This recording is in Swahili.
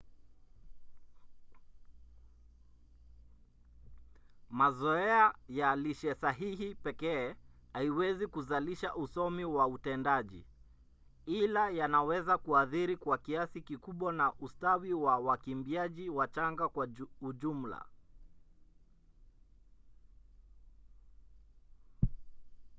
mazoea ya lishe sahihi pekee haiwezi kuzalisha usomi wa utendaji ila yanaweza kuathiri kwa kiasi kikubwa na ustawi wa wakimbiaji wachanga kwa ujumla